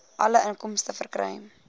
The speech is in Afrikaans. alle inkomste verkry